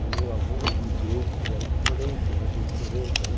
O meu avô imigrou, ele era de Florença, imagine, Florença, né?